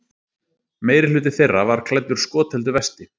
Meirihluti þeirra var klæddur skotheldu vesti